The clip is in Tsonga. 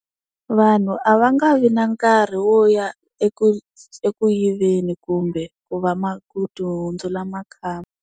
Vanhu a va nga vi na nkarhi wo ya eku eku yiveni kumbe ku va ku ti hundzula makhamba.